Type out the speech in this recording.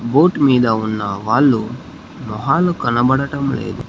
Boat మీద ఉన్న వాల్లు మొహాలు కనపడటం లేదు.